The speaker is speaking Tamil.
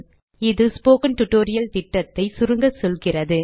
இது ஸ்போக்கன் டியூட்டோரியல் திட்டத்தை சுருங்க சொல்கிறது